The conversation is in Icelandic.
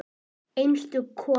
Einstök kona.